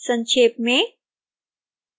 संक्षेप में